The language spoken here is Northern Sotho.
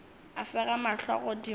a fega mahlo godimo a